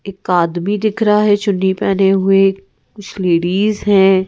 एक आदमी दिख रहा है चड्डी पहने हुए कुछ लेडीज हैं।